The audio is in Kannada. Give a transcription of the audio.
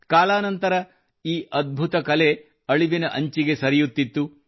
ಕಾಲಾ ನಂತರ ಈ ಅದ್ಭುತ ಕಲೆಗೆ ಅಳಿವಿನ ಅಂಚಿಗೆ ಸರಿಯುತ್ತಿತ್ತು